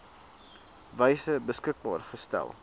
wyse beskikbaar gestel